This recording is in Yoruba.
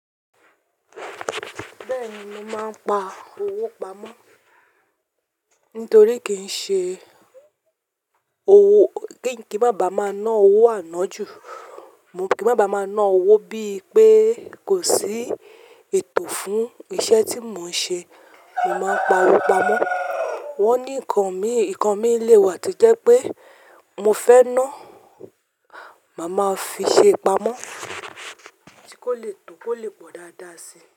Bẹ́ẹ̀ni, mo máa ń pa owó pamọ́ nítorí kí n ṣe owó, kí n má bá máa ná owó àná jù. Mo kí má bá máa ná owó bíi pé kò sí ètò fún iṣẹ́ tí mò ń ṣe, mo máa ń pa owó pamọ́. Wọ́n ní nǹkan mi, nǹkan mi le wà tí jẹ́ pé mo fẹ́ ná, màá máa fi ṣe pamọ́ kí ó le tò, kó lè pọ̀ dáadáa si.